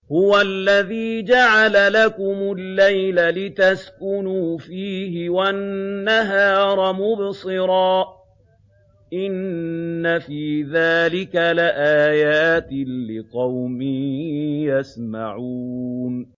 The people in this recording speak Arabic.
هُوَ الَّذِي جَعَلَ لَكُمُ اللَّيْلَ لِتَسْكُنُوا فِيهِ وَالنَّهَارَ مُبْصِرًا ۚ إِنَّ فِي ذَٰلِكَ لَآيَاتٍ لِّقَوْمٍ يَسْمَعُونَ